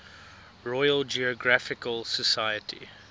royal geographical society